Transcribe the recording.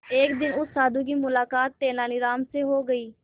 एक दिन उस साधु की मुलाकात तेनालीराम से हो गई